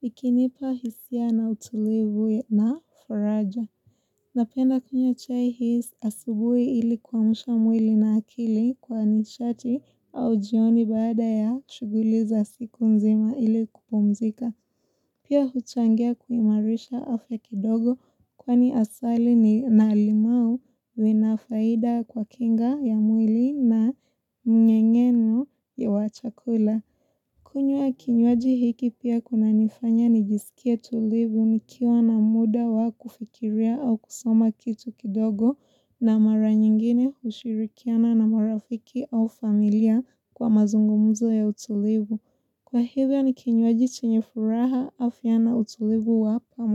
Ikinipa hisia na utulivu na faraja. Napenda kunywa chai hii asubuhi ili kuamsha mwili na akili kwa nishati au jioni baada ya shuguli za siku mzima ili kupumzika. Pia huchangia kuimarisha afya kidogo kwani asali ni na limau inafaida kwa kinga ya mwili na mnyengeno ya wachakula. Kunywa kinyuaji hiki pia kina nifanya nijisikie tulivu nikiwa na muda wa kufikiria au kusoma kitu kidogo na mara nyingine ushirikiana na marafiki au familia kwa mazungumuzo ya utulivu. Kwa hivyo ni kinywaji chenye furaha afya na utulivu wapamu.